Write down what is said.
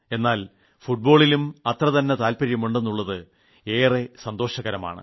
എന്നാൽ ഫുട്ബോളിലും അത്ര തന്നെ താൽപര്യം ഉണ്ടെന്നുളളത് ഏറെ സന്തോഷകരമാണ്